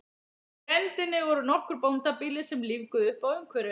Í grenndinni voru nokkur bóndabýli sem lífguðu uppá umhverfið.